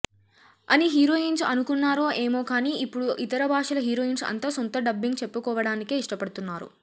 అని హీరోయిన్స్ అనుకున్నారో ఏమో కానీ ఇప్పుడు ఇతర భాషల హీరోయిన్స్ అంత సొంత డబ్బింగ్ చెప్పుకోవడానికే ఇష్టపడుతున్నారు